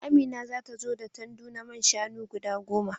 Amina za ta zo da tandu na man shanu guda goma.